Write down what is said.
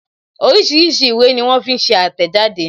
Oríṣiríṣi ìwé ní wón fi ń ṣe àtẹ̀jáde